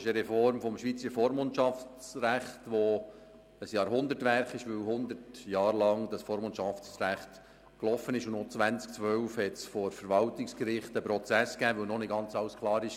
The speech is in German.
Bei dieser Reform des schweizerischen Vormundschaftsrechts handelt es sich um ein Jahrhundertwerk, weil das alte Vormundschaftsrecht während 100 Jahren Gültigkeit hatte, und noch 2012 gab es vor dem Verwaltungsgericht einen Prozess, weil nicht ganz alles klar war.